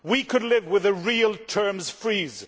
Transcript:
We could live with a real terms freeze.